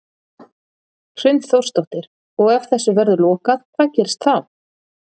Hrund Þórsdóttir: Og ef þessu verður lokað hvað gerist þá?